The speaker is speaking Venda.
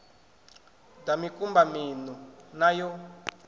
ḓa mikumba miṋu na yo